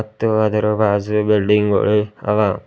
ಮತ್ತು ಅದರ ಬಾಜು ಬಿಲ್ಡಿಂಗ್ ಗುಳ್ ಅದ.